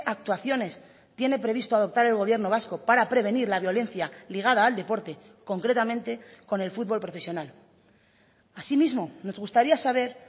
actuaciones tiene previsto adoptar el gobierno vasco para prevenir la violencia ligada al deporte concretamente con el fútbol profesional asimismo nos gustaría saber